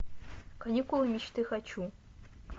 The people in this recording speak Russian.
каникулы мечты хочу